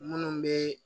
Munnu be